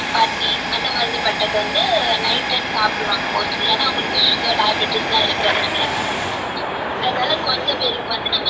அந்த மாதிரி பட்டது வந்து night time சாப்டுவாங்க mostly ஏனா அவங்களுக்கு sugar diabaties லாம் இருக்கு